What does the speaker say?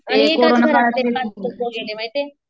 माहिते